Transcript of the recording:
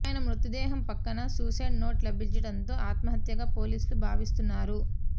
ఆయన మృతదేహం పక్కన సూసైడ్ నోట్ లభించడంతో ఆత్మహత్యగా పోలీసులు భావిస్తున్నారు